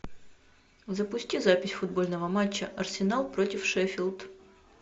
запусти запись футбольного матча арсенал против шеффилд